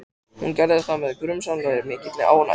Hún gerði það með grunsamlega mikilli ánægju.